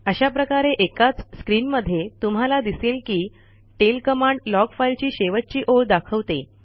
अशाप्रकारे एकाच स्क्रीनमध्ये तुम्हाला दिसेल की टेल कमांड लॉग फाइल ची शेवटची ओळ दाखवते